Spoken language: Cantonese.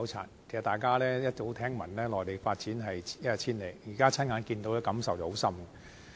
事實上，大家早已聽聞內地的發展一日千里，現在親眼目睹，的確有很深刻的感受。